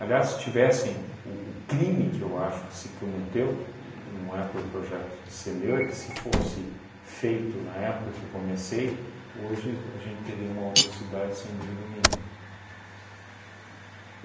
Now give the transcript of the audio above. Aliás, se tivessem, o o crime que eu acho que se cometeu, e não é por projeto ser meu, é que se fosse feito na época que eu comecei, hoje a gente teria uma outra cidade, sem dúvida nenhuma.